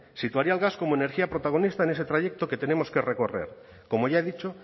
situaría al gas como energía protagonista en ese trayecto que tenemos que recorrer como ya he dicho